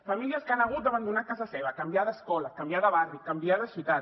famílies que han hagut d’abandonar casa seva canviar d’escola canviar de barri canviar de ciutat